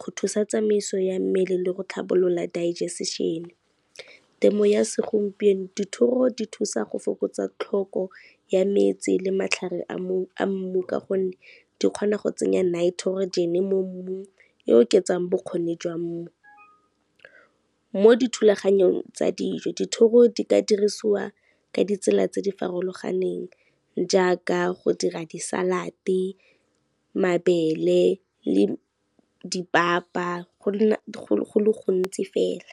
go thusa tsamaiso ya mmele le go tlhabolola digestion. Temo ya segompieno, dithoro di thusa go fokotsa tlhoko ya metsi le matlhare a mmu ka gonne di kgona go tsenya nitrogen mo mmung, e oketsang bokgoni jwa mmu. Mo dithulaganyong tsa dijo dithoro di ka dirisiwa ka ditsela tse di farologaneng jaaka, go dira di-salad, mabele le dipapa go le gontsi fela.